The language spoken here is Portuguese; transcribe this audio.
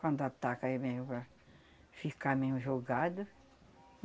Quando ataca, é mesmo para ficar mesmo jogado.